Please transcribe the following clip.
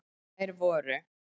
Þær voru: